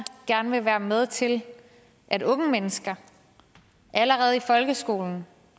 gerne vil være med til at unge mennesker allerede i folkeskolen